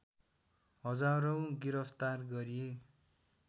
हजारौं गिरफ्तार गरिए